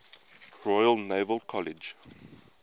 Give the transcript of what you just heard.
royal naval college